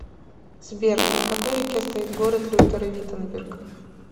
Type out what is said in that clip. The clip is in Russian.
сбер на какой реке стоит город лютера виттенберг